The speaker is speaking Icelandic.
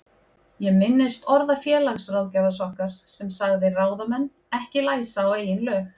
Ég minnist orða félagsráðgjafans okkar sem sagði ráðamenn ekki læsa á eigin lög.